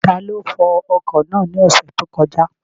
Taló fọ ọkọ̀ náà ní ọ̀sẹ̀ tó kọjá?